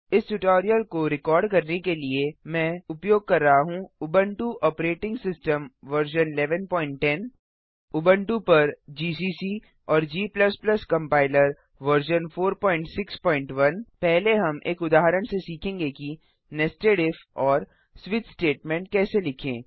इस ट्यूटोरियल को रिकार्ड करने के लिए मैं उपयोग कर रहा हूँ Ubuntu operating system version 1110 Ubuntu पर जीसीसी और g कम्पाइलर वर्जन 461 पहले हम एक उदाहरण से सीखेंगे कि नेस्टेड इफ और स्विच स्टेटमेंट कैसे लिखें